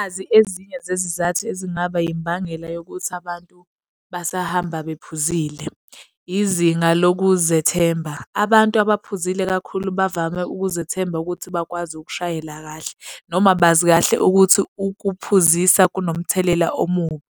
Nazi ezinye zezizathu ezingaba imbangela yokuthi abantu basahamba bephuzile. Izinga lokuzethemba. Abantu abaphuzile kakhulu bavame ukuzethemba ukuthi bakwazi ukushayela kahle noma bazi kahle ukuthi ukuphuzisa kunomthelela omubi.